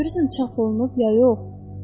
Görürsən çap olunub ya yox?